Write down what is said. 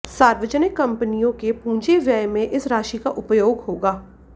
सार्वजनिक कंपनियों के पूंजी व्यय में इस राशि का उपयोग होगा